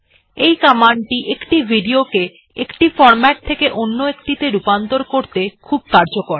এই কমান্ডটি একটি ভিডিও কে একটি ফরম্যাট থেকে অন্য একটি রূপান্তর করতে খুব কার্যকর